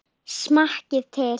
Smakkið til.